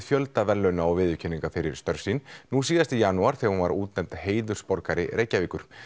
fjölda verðlauna og viðurkenninga fyrir störf sín nú síðast í janúar þegar hún var útnefnd heiðursborgari Reykjavíkur